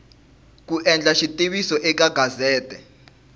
ku endla xitiviso eka gazete